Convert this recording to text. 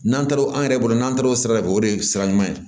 N'an taara o an yɛrɛ bolo n'an taara o sira de fɛ o de ye sira ɲuman ye